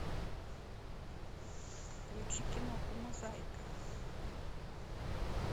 включи киноху мозаика